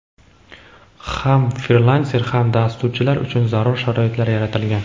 ham frilanser va dasturchilar uchun zarur sharoitlar yaratilgan.